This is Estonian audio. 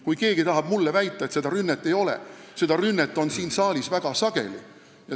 Kui keegi tahab mulle väita, et sellist rünnet ei ole, siis seda on siin saalis ju väga sageli.